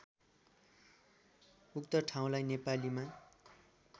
उक्त ठाउँलाई नेपालीमा